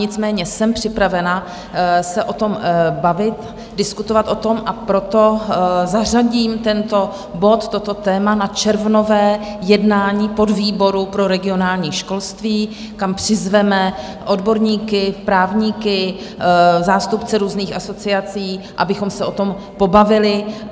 Nicméně jsem připravena se o tom bavit, diskutovat o tom, a proto zařadím tento bod, toto téma, na červnové jednání podvýboru pro regionální školství, kam přizveme odborníky, právníky, zástupce různých asociací, abychom se o tom pobavili.